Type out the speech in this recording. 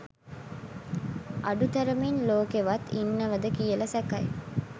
අඩු තරමින් ලෝකෙවත් ඉන්නවද කියල සැකයි